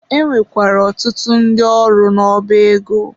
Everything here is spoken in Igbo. E nwekwara ọtụtụ ndị ọrụ n'ọba ego.